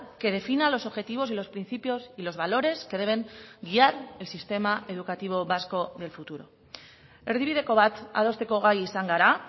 que defina los objetivos los principios y los valores que deben guiar el sistema educativo vasco del futuro erdibideko bat adosteko gai izan gara